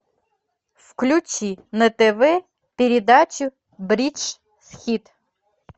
включи на тв передачу бридж хит